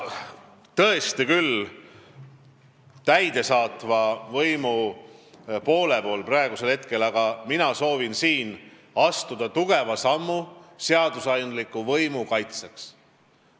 Ehkki ma olen siin praegu täidesaatva võimu esindajana, soovin ma astuda tugeva sammu seadusandliku võimu kaitseks.